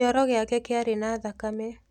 Kĩoro gĩake kĩarĩ na thakame.